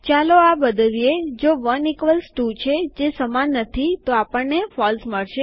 ચાલો આ બદલીએ જો ૧ ઇક્વ્લ્સ ૨ છે જે સમાન નથી તો આપણને ફોલ્સ મળશે